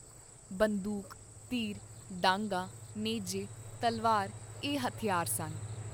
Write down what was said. ਬੰਦੂਕ, ਤੀਰ, ਡਾਂਗਾਂ, ਨੇਜੇ, ਤਲਵਾਰ ਏਹ ਹਥਿਆਰ ਸਨ।